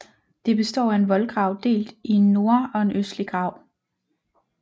Det består af en voldgrav delt i en norde og en østlig grav